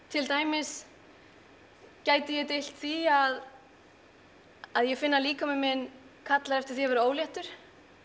til dæmis gæti ég deilt því að að ég finn að líkami minn kallar eftir því að vera óléttur